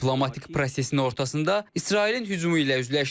Diplomatik prosesin ortasında İsrailin hücumu ilə üzləşdik.